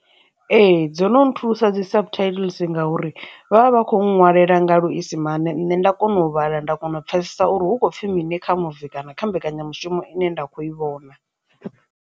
Ee, dzo no nthusa dzi subtittles ngauri vha vha vha khou ṅwalela nga luisimane nṋe nda kona u vhala nda kona u pfhesesa uri hu khou pfhi mini kha muvi kana kha mbekanyamushumo ine nda kho i vhona.